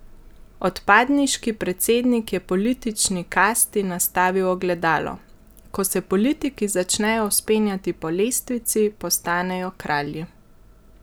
Odpadniški predsednik je politični kasti nastavil ogledalo: "Ko se politiki začnejo vzpenjati po lestvici, postanejo kralji.